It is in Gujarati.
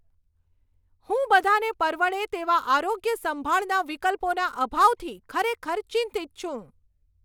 હું બધાંને પરવડે તેવા આરોગ્યસંભાળના વિકલ્પોના અભાવથી ખરેખર ચિંતિત છું.